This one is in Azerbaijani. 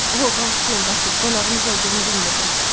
O, bağışlayın, Basil, qonağınız olduğunu bilmirdim.